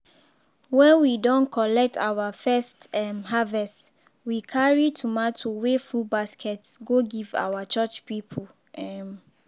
wen we don collect our first um harvest we carry tomatoes wey full basket go give our church people um